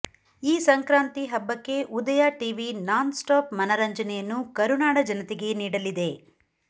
ಈ ಸಂಕ್ರಾಂತಿ ಹಬ್ಬಕ್ಕೆ Udaya TV nonstop ಮನರಂಜನೆಯನ್ನು ಕರುನಾಡ ಜನೆತೆಗೆ ನೀಡಲಿದೆ